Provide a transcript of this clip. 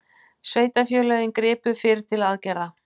Sveitarfélögin gripu fyrr til aðgerða